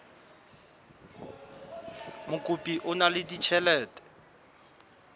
mokopi o na le ditjhelete